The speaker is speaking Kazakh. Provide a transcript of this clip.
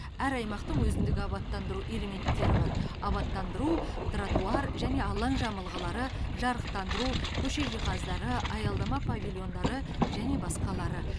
әр аймақтың өзіндік абаттандыру элементтері бар абаттандыру тротуар және алаң жамылғылары жарықтандыру көше жиһаздары аялдама павильондары және басқалары